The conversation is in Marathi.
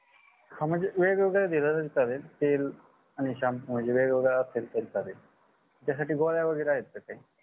हा म्हणजे वेगवेगळ्या दिल तरी चालेल तेल आणि shampoo म्हणजे वेगवेगळं असतील तरी चालेल त्यासाठी गोळ्या वगेरे आहेत काही